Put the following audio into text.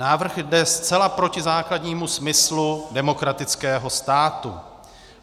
Návrh jde zcela proti základnímu smyslu demokratického státu.